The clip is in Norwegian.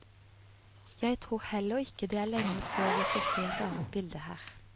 Jeg tror heller ikke det er lenge før vi får se et annet bilde her.